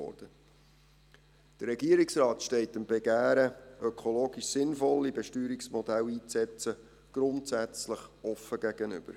Der Regierungsrat steht dem Begehren, ökologisch sinnvolle Besteuerungsmodelle einzusetzen, grundsätzlich offen gegenüber.